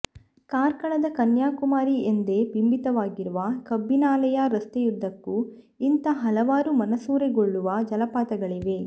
ಕಾರ್ಕಳದ ಕನ್ಯಾಕುಮಾರಿ ಎಂದೇ ಬಿಂಬಿತವಾಗಿರುವ ಕಬ್ಬಿನಾಲೆಯ ರಸ್ತೆಯುದ್ದಕ್ಕೂ ಇಂಥ ಹಲವಾರು ಮನಸೂರೆಗೊಳ್ಳುವ ಜಲಪಾತಗಳಿವೆ